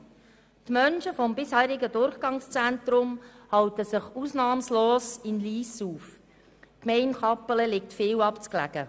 Die Menschen vom bisherigen Durchgangszentrum halten sich ausnahmslos in Lyss auf, die Gemeinde Kappelen liegt viel zu abgelegen.